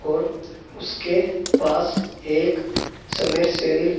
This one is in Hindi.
और उसके पास एक समर्सेविल --